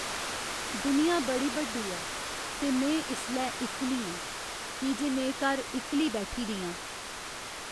दुनिया बड़ी बड्डी ऐ ते में इसलै इक्कली आं की जे में घर इक्कली बैठी दी आं।